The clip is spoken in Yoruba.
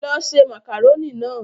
Lọ ṣe màkàrónì náà!